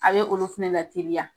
A bɛ olu fɛnɛ lateliya .